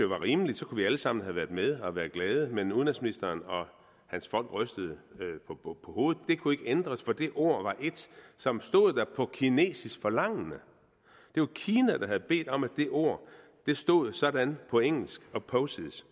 rimeligt så kunne vi alle sammen have været med og være glade men udenrigsministeren og hans folk rystede på hovedet det kunne ikke ændres for det ord var et som stod der på kinesisk forlangende det var kina der havde bedt om at det ord stod sådan på engelsk opposes